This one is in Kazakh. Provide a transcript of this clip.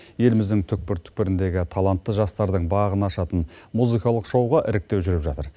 еліміздің түкпір түкпіріндегі талантты жастардың бағын ашатын музыкалық шоуға іріктеу жүріп жатыр